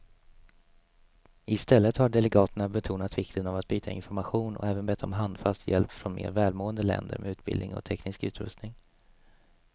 Istället har delegaterna betonat vikten av att byta information och även bett om handfast hjälp från mer välmående länder med utbildning och teknisk utrustning.